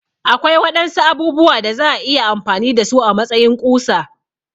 Akwai waɗansu abubuwa da za'a iya amfani da su a matsayin ƙusa